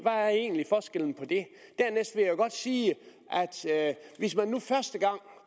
er egentlig forskellen på det dernæst vil jeg godt sige at hvis man nu første gang